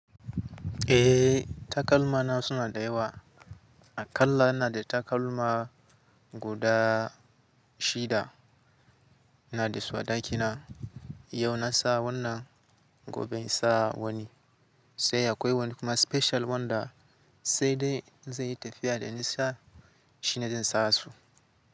Eh takalma na suna da yawa a kalla ina da takalma guda shida na da su a ɗakina. Yau na sa wannan, gobe in sa wani. Sai akwai wani kuma special wanda sai dai in zai yi tafiya da nisa shi ne zan sa su.